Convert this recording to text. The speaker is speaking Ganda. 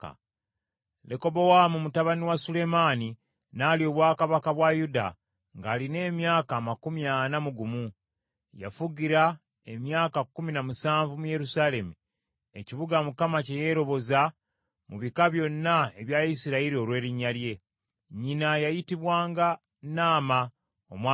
Lekobowaamu mutabani wa Sulemaani n’alya obwakabaka bwa Yuda, ng’alina emyaka amakumi ana mu gumu. Yafugira emyaka kkumi na musanvu mu Yerusaalemi, ekibuga Mukama kye yeeroboza mu bika byonna ebya Isirayiri olw’erinnya lye. Nnyina yayitibwanga Naama, Omwamoni.